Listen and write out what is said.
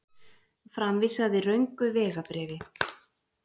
Framvísaði röngu vegabréfi